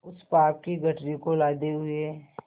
उस पाप की गठरी को लादे हुए